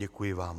Děkuji vám.